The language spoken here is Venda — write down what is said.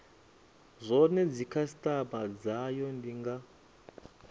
zwone dzikhasitama dzayo ndi nga